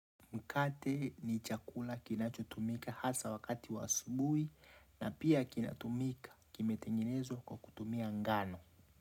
Mkate ni chakula kinachutumika hasa wakati wa asubuhi na pia kinatumika kimetengenezwa kwa kutumia ngano.